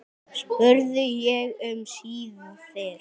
spurði ég um síðir.